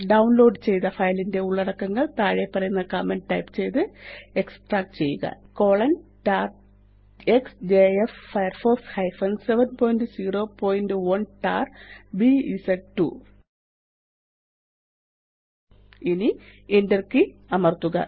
download ചെയ്ത ഫയലിന്റെ ഉള്ളടക്കങ്ങള് താഴെപ്പറയുന്ന കമാന്റ് ടൈപ്പ് ചെയ്ത് എക്സ്ട്രാക്റ്റ് ചെയ്യുകtar എക്സ്ജെഎഫ് firefox 701tarബിഎസ്2 ഇനി Enter കെയ് അമര്ത്തുക